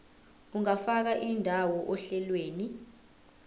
ungafaka indawo ohlelweni